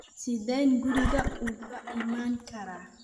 sideen guriga uga iman karaa